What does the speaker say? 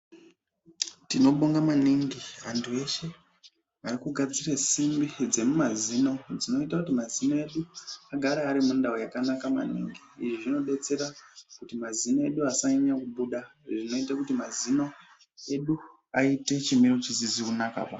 Tinobonga maningi antu eshe ari kugadzire simbi dzemumazino dzinoita kuti mazino edu agare ari mundau makanaka maningi izvi zvinodetsera kuti mazino edu asanyanya kubuda izvizvinoite kuti mazino aite chimiro chisizi kunaka.